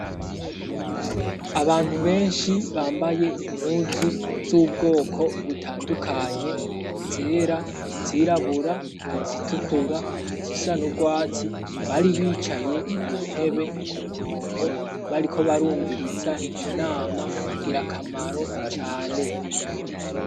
Abantu benshi bambaye impuzu z'ubwoko butandukanye, izera, izirabura, izitukura, izisa nu rwatsi bari bicaye ku ntebe ku murongo bariko barumviriza inama ngirakamaro cane.